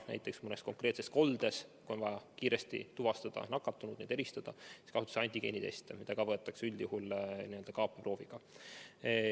Näiteks mõnes konkreetses koldes, kui on vaja kiiresti nakatunud tuvastada, kasutatakse antigeeniteste, mida võetakse üldjuhul samuti kaapeproovina.